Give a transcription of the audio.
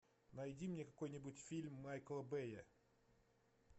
найди мне какой нибудь фильм майкла бэя